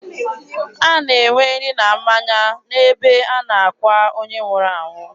A na-enwe nri na mmanya n'ebe a na-akwa onye nwụrụ anwụ.